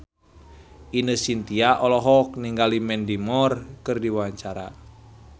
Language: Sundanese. Ine Shintya olohok ningali Mandy Moore keur diwawancara